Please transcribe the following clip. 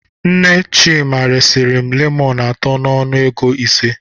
Nne Chima resiri m lemọnụ atọ n'ọnụ ego ise.